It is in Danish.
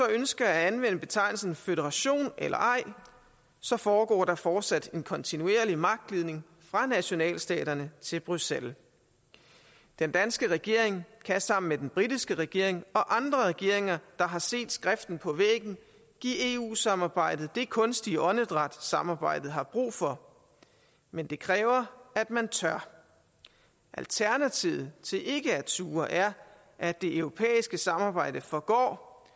ønsker at anvende betegnelsen føderation eller ej foregår der fortsat en kontinuerlig magtglidning fra nationalstaterne til bruxelles den danske regering kan sammen med den britiske regering og andre regeringer der har set skriften på væggen give eu samarbejdet det kunstige åndedræt samarbejdet har brug for men det kræver at man tør alternativet til ikke at turde er at det europæiske samarbejde forgår